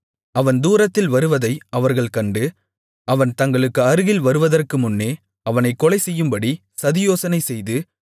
அவன் தூரத்தில் வருவதை அவர்கள் கண்டு அவன் தங்களுக்கு அருகில் வருவதற்குமுன்னே அவனைக் கொலைசெய்யும்படி சதியோசனைசெய்து